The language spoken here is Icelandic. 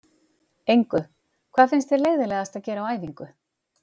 Engu Hvað finnst þér leiðinlegast að gera á æfingu?